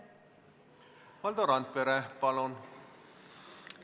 Valdo Randpere, palun!